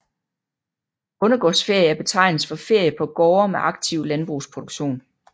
Bondegårdsferie er betegnelsen for ferie på gårde med aktiv landbrugsproduktion